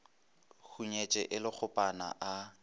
hunyetše e le kgopana a